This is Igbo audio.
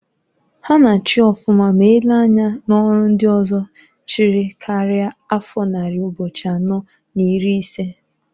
Ha na-achi ọfụma m elee anya n'ọrụ ndị ọzọ chịrị karia afọ nnari ụbo̼chi̼ anọọ n'iri isee.